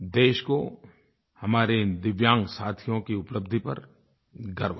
देश को हमारे इन दिव्यांग साथियों की उपलब्धि पर गर्व है